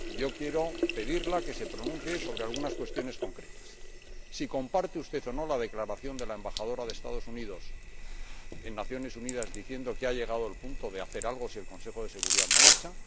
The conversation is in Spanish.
Quiero pedirle que se pronuncie sobre algunas cuestiones concretas si comparte usted o no la declaración de la Embajadora de los Estados Unidos en las Naciones Unidas, que ha dicho que ha llegado el punto de hacer algo si el Consejo de Seguridad no avanza